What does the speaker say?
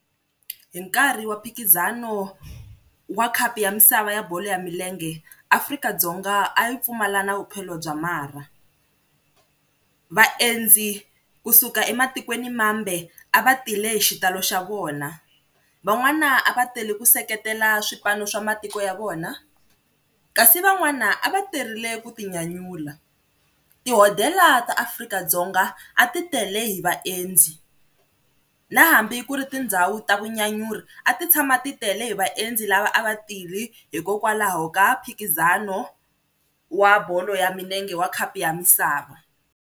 Hi nkarhi wa mphikizano wa khapu ya misava ya bolo ya milenge Afrika-Dzonga a yi pfumala na vuphelo bya marha, vaendzi kusuka ematikweni mambe a va tile hi xitalo xa vona, van'wana a va tele ku seketela swipano swa matiko ya vona, kasi van'wana a va terile ku tinyanyula. Tihodhela ta Afrika-Dzonga a ti tele hi vaendzi, na hambi ku ri tindhawu ta vunyanyuri a ti tshama ti tele hi vaendzi lava a va tile hikokwalaho ka mphikizano wa bolo ya milenge wa khapu ya misava.